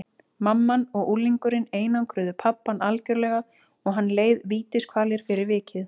Mamman og unglingurinn einangruðu pabbann algjörlega og hann leið vítiskvalir fyrir vikið.